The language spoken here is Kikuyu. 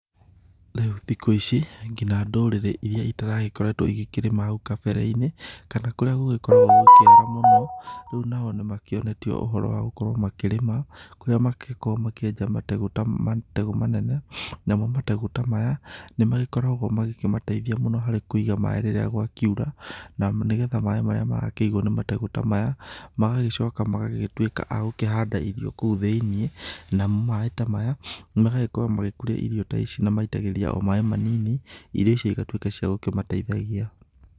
Rĩũ thikũ ici, nginya ndũrĩrĩ iria itaragĩkoretwo igĩkĩrĩma hau kabere-inĩ kana kũrĩa gũgĩkoragwo gũkĩara mũno, rĩu nao nĩ makĩonetio ũhoro wa gũkorwo makĩrĩma, kũrĩa makoragwo makĩenja mategũ manene, namo mategũ ta maya nĩ magĩkoragwo magĩkĩmateithia harĩ kũiga maĩ rĩrĩa gwakiura, na nĩ getha maĩ marĩa marakĩigwo nĩ mategũ ta maya, magagĩcoka magagĩtuĩka a gũkĩhanda irio kou thĩ-inĩ, namo maĩ ta maya magagĩkorwo magĩkũria irio ta ici na maitagĩrĩria o maĩ manini, irio icio igatuĩka cia gũkĩmateithagia.